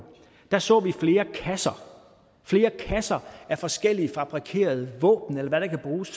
der så vi flere kasser flere kasser med forskellige fabrikerede våben eller hvad der kan bruges